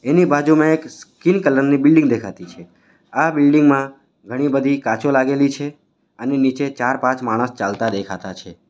એની બાજુમાં એક skin colour ની બિલ્ડીંગ દેખાતી છે આ બિલ્ડિંગ માં ઘણી-બધી કાચો લાગેલી છે અને નીચે ચાર-પાંચ માણસ ચાલતા દેખાતા છે.